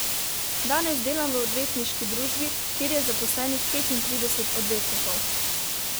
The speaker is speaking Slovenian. Danes delam v odvetniški družbi, kjer je zaposlenih petintrideset odvetnikov.